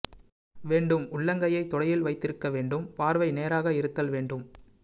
வேண்டும் உள்ளங்கையை தொடையில் வைத்திருக்க வேண்டும் பார்வை நேராக இருத்தல் வேண்டும்